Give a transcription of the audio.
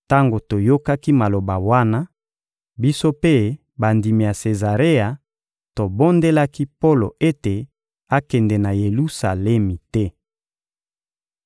Tango toyokaki maloba wana, biso mpe bandimi ya Sezarea tobondelaki Polo ete akende na Yelusalemi te.